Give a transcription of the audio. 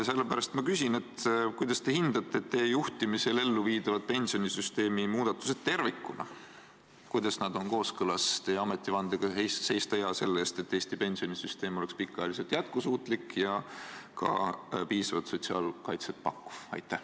Sellepärast ma küsin, kuidas te hindate teie juhtimisel elluviidavaid pensionisüsteemi muudatusi tervikuna, kuidas nad on kooskõlas teie ametivandega, mille järgi teil tuleb seista hea selle eest, et Eesti pensionisüsteem oleks pikaajaliselt jätkusuutlik ja ka piisavalt sotsiaalkaitset pakkuv.